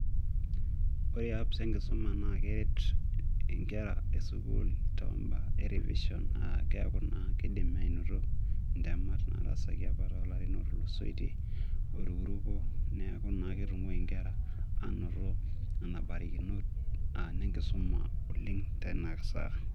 Ore apps enkisuma naa keret nkera e sukuul too imbaa e revision, aa keaku naa keidim aanoto ntemat nataasaki apa too larin ootulusoitei oirukuruko. Niaku naa keidim nkera anoto nena barikinot aa nne nkisuma oleng tena saa.